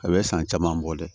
A bɛ san caman bɔ dɛ